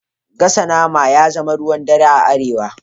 Gasa nama ya zama ruwan dare a Arewa